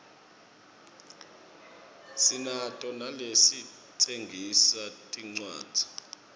sinato naletitsengisa tincwadzi